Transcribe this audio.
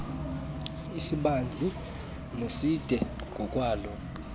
kwisibanzi neside ngokwaloo